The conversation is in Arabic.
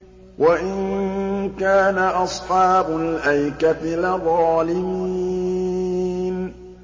وَإِن كَانَ أَصْحَابُ الْأَيْكَةِ لَظَالِمِينَ